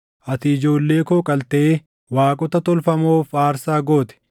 Ati ijoollee koo qaltee waaqota tolfamoof aarsaa goote.